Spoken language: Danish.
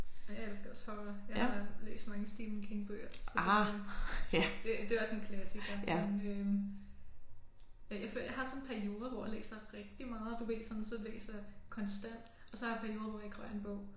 Jeg elsker også horror. Jeg har læst mange Stephen King bøger så det jo det det også en klassiker sådan øh jeg jeg har sådan en periode hvor jeg læser rigtig meget du ved sådan så læser jeg konstant og så har jeg perioder hvor jeg ikke rører en bog